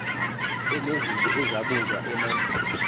enezinto ezabunjwa emandulo